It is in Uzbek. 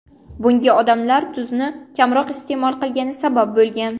Bunga odamlar tuzni kamroq iste’mol qilgani sabab bo‘lgan.